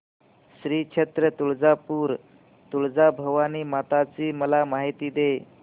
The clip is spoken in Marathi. श्री क्षेत्र तुळजापूर तुळजाभवानी माता ची मला माहिती दे